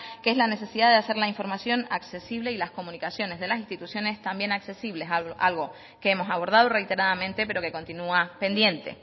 que es la necesidad de hacer la información accesible y las comunicaciones de las instituciones también accesibles algo que hemos abordado reiteradamente pero que continua pendiente